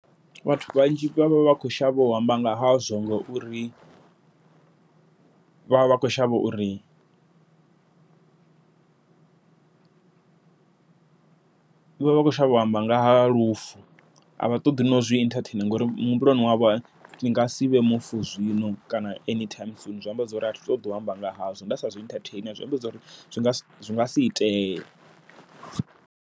Vhathu vhanzhi vha vha vha vha khou shavha u amba nga hazwo ngauri, vha vha vha kho shavha uri vhavha vha khou shavha u amba nga ha lufu. Avha ṱoḓi nau zwi ita entertain ngori muhumbuloni wavho, ni nga sivhe mufu zwino kana anytime soon zwi amba zwori a thi ṱoḓi u amba nga hazwo, nda sa zwi entertain zwi amba zwori zwi nga zwi nga si itee.